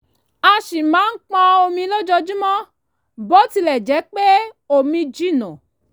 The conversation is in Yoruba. a ṣì máa pọn omi lójojúmọ́ bó tilẹ̀ jẹ́ pé omi jìnnà